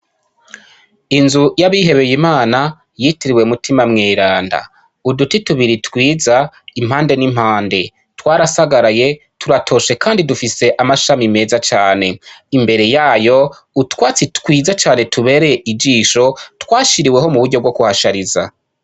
Inzu y'abihebeye Imana yitiriwe Mutima mweranda, uduti tubiri twiza impande n'impande twarasagaraye turatoshe kandi dufise amashami meza cane imbere yayo utwatsi twiza cane tubere ijisho twashiriweho mu buryo bwo kuhashariza.